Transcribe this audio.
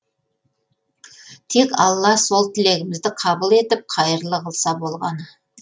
тек алла сол тілегімізді қабыл етіп қайырлы қылса болғаны